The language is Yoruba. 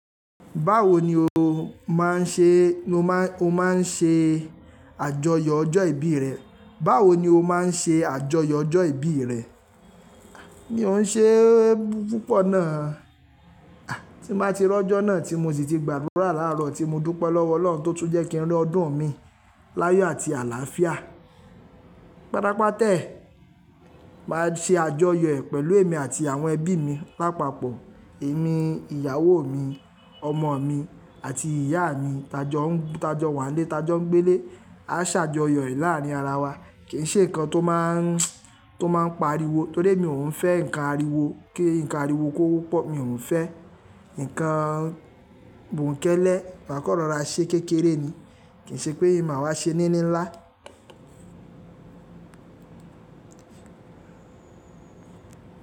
Báwo ni o máa ń ṣe, lo má, o máa ń ṣe àjọyọ̀ ọjọ́ ìbí rẹ? Báwo ni o máa ń ṣe àjọyọ̀ ọjọ́ ìbí rẹ? Mi ò n ṣe é púpọ̀ náa. Tí n ba ti ri ọjọ́ náà tí mo sì ti gbàdúrà láárọ̀ tí mo dúpẹ́ lọ́wọ́ Ọlọ́run tó tún jẹ́ kí n rí ọdún mii láyọ àti àlàáfíà. Pátápátá e, máa ṣe àjọyọ̀ ẹ̀ pẹ̀lú èmi àti àwọn ẹbí mi. Pápapọ̀ èmi, ìyàwó mi, ọmọ mi àti ìyá mi, t'ajọ, t'ajọ wà nílé, t'ajọ ń gbé nílé, a ṣàjọyọ̀ ẹ̀ láàárin ara wa. Kì í ṣe nǹkan tó máa ń, tó máa ń pa ariwo torí emi ò n fẹ́ nǹkan ariwo, kí nǹkan ariwo kó wọ́pọ̀, mi ò n fẹ́. Nkan bonkẹ́lẹ́, maa kan rora ṣe kékeré ni, kì í ṣe pé màá wá ṣe ní níńlá.